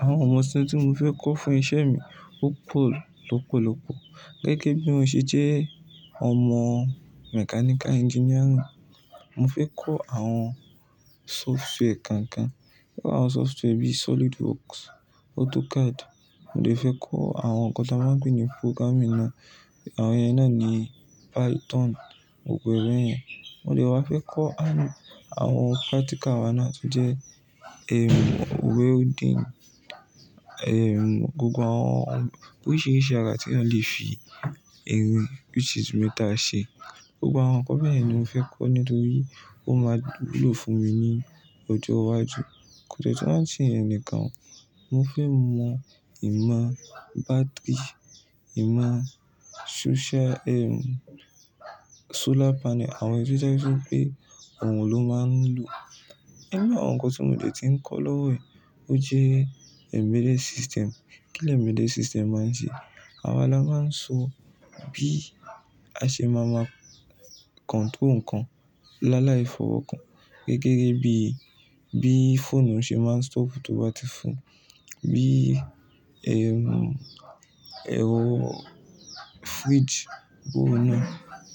Àwọn ohun ọ̀sìn tí mo fẹ́ kọ́ fún iṣẹ́ mi ó pọ̀ lọ́pọ̀lọpọ̀. Gẹ́gẹ́ bí mo ṣe jẹ́ ọmọ mechanical engineering, mo fẹ́ kọ́ àwọn software kan kan. Bíi àwọn software bí SolidWorks, AutoCAD. Mo de fẹ́ kọ́ àwọn nǹkan tí a máa ń lo ní programming náà. Àwọn iye náà ni Python, gbogbo irú ẹ́ yẹn. Mo lè wá fẹ́ kọ́ àwọn practical wa náà tó jẹ́, welding, gbogbo àwọn oríṣiríṣi ara tí eyan le fi irin which is metal ṣe. Gbogbo àwọn nǹkan bẹ́ẹ̀ ni mo fẹ́ kọ́ nítorí ó máa wúlò fún mi ní ọjọ́ iwájú. Kò de tun wa n se yẹn nìkan. Mo fẹ́ mọ ìmọ̀ battery, ìmọ̀ social, solar panel, àwọn èyí to je wípé òrùn ló máa ń lo. Nínú àwọn nǹkan tí mo dè ti ń kọ́ lówó yi, ó jẹ́ embedded system. Kí embedded system máa ń ṣe? Àwa la máa ń so bí a ṣe máa mọ control nǹkan, láàlá ìfọwọ́ kan. Gẹ́gẹ́ bí, bí fóónú ṣe máa ń stop tó bá ti fọ́. Bí, ehm, ẹrọ firiji bo un náà